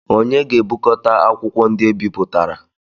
Onye ga-ebukọta akwụkwọ ndị ebipụtara?